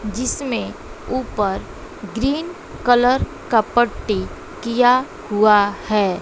जिसमें ऊपर green colour का पट्टी किया हुआ है।